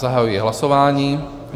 Zahajuji hlasování.